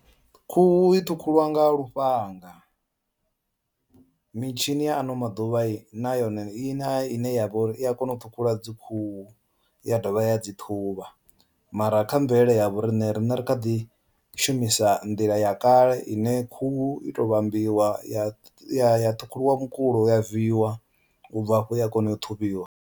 Khuhu i ṱhukhuliwa nga lufhanga mitshini ya ano maḓuvha yi na yone i na ine ya vha uri i a kona u ṱhukhula dzi khuhu ya dovha ya dzi ṱhuvha, mara kha mvelele ya vhoriṋe rine ri kha ḓi shumisa nḓila ya kale ine khuhu i to vhambiwa ya ya ṱhukhuliwa mukulo ya viiwa ubva afho ya kona u ṱhuvhiwa.